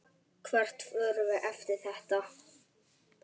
Hvert förum við eftir þetta?